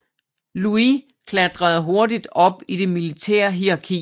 Louis klatrede hurtigt op i det militære hierarki